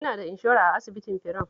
Ina da inshora a asibitin firam.